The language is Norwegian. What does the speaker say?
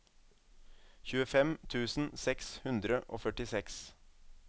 tjuefem tusen seks hundre og førtiseks